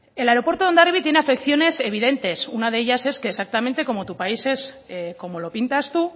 el aeropuerto de hondarribia tiene afecciones evidentes una de ellas es que exactamente como tu país es como lo pintas tú